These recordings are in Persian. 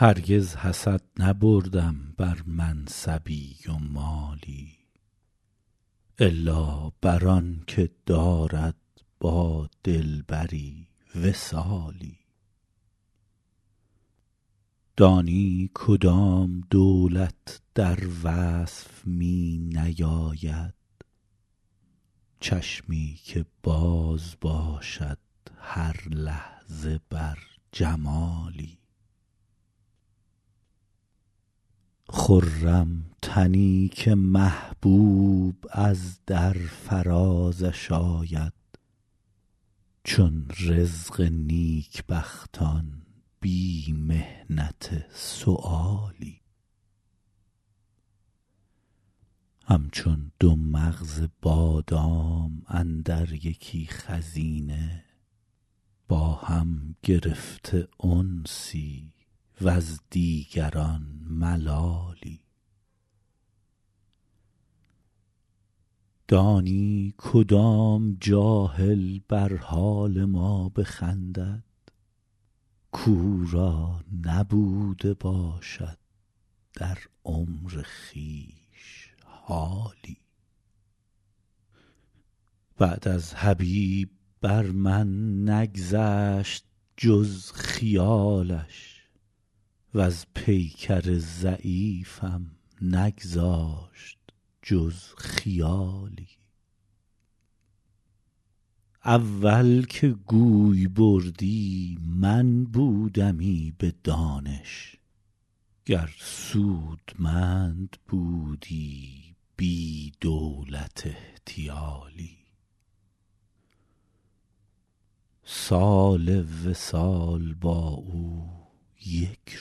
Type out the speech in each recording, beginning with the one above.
هرگز حسد نبردم بر منصبی و مالی الا بر آن که دارد با دلبری وصالی دانی کدام دولت در وصف می نیاید چشمی که باز باشد هر لحظه بر جمالی خرم تنی که محبوب از در فرازش آید چون رزق نیکبختان بی محنت سؤالی همچون دو مغز بادام اندر یکی خزینه با هم گرفته انسی وز دیگران ملالی دانی کدام جاهل بر حال ما بخندد کاو را نبوده باشد در عمر خویش حالی بعد از حبیب بر من نگذشت جز خیالش وز پیکر ضعیفم نگذاشت جز خیالی اول که گوی بردی من بودمی به دانش گر سودمند بودی بی دولت احتیالی سال وصال با او یک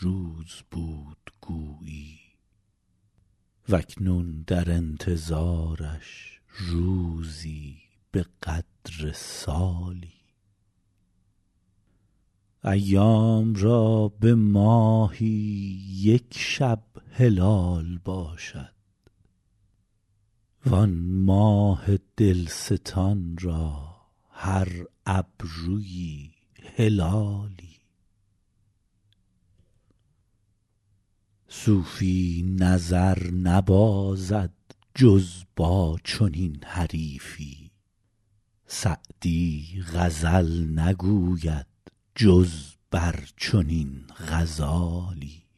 روز بود گویی و اکنون در انتظارش روزی به قدر سالی ایام را به ماهی یک شب هلال باشد وآن ماه دلستان را هر ابرویی هلالی صوفی نظر نبازد جز با چنین حریفی سعدی غزل نگوید جز بر چنین غزالی